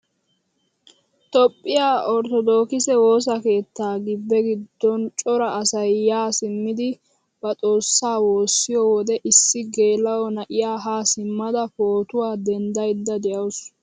Toophphiyaa orttodokise woossa keettaa gibbe giddon cora asay yaa simmidi ba xoossaa woossiyoo wode issi geela'o na'iyaa haa simmada pootuwaa denddayda de'awus.